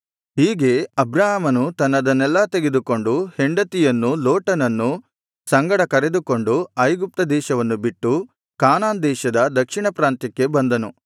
ಹೀಗೆ ಅಬ್ರಾಮನು ತನ್ನದನ್ನೆಲ್ಲಾ ತೆಗೆದುಕೊಂಡು ಹೆಂಡತಿಯನ್ನೂ ಲೋಟನನ್ನೂ ಸಂಗಡ ಕರೆದುಕೊಂಡು ಐಗುಪ್ತದೇಶವನ್ನು ಬಿಟ್ಟು ಕಾನಾನ್ ದೇಶದ ದಕ್ಷಿಣ ಪ್ರಾಂತ್ಯಕ್ಕೆ ಬಂದನು